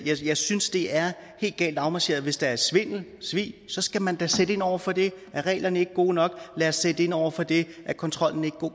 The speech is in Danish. jeg synes det er helt galt afmarcheret hvis der er svindel svig skal man da sætte ind over for det er reglerne ikke gode nok lad os sætte ind over for det er kontrollen ikke